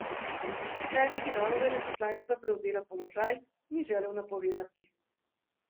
Kdaj naj bi nova veleposlanica prevzela položaj, ni želel napovedovati.